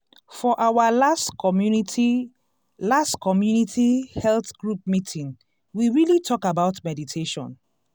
for our last community last community health group meeting we really talk about meditation.